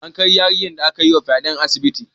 An kai yarinyar da aka yi wa fyaɗe asibiti